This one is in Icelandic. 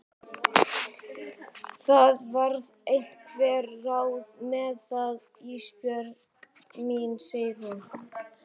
Það verða einhver ráð með það Ísbjörg mín, segir hún.